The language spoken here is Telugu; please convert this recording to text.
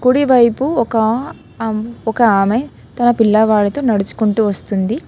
కుడి వైపు ఒక ఆ ఒక ఆమె తన పిల్లవాడితో నడుచుకుంటూ వస్తుంది.